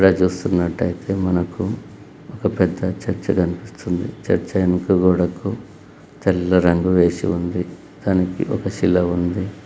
ఇక్కడ చూస్తున్నట్టు అయితే మనకు ఒక పెద్ద చర్చి కనిపిస్తుంది. చర్చి వెనక గోడ కు తెల్ల రంగు వేసి ఉంది. దానికి ఒక శిల ఉంది.